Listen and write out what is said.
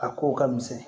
A ko ka misɛn